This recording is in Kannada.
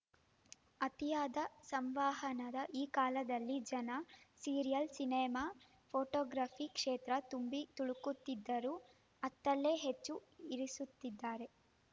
ಅತಿಯಾದ ಸಂವಹನದ ಈ ಕಾಲದಲ್ಲಿ ಜನ ಸೀರಿಯಲ್‌ ಸಿನೆಮಾ ಫೋಟೋಗ್ರಫಿ ಕ್ಷೇತ್ರ ತುಂಬಿತುಳುಕುತ್ತಿದ್ದರೂ ಅತ್ತಲೇ ಹೆಜ್ಜೆ ಇರಿಸುತ್ತಿದ್ದಾರೆ